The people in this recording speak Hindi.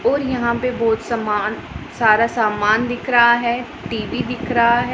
और यहाँ पे बहोत समान सारा सामान दिख रहा हैं टी_वी दिख रहा हैं।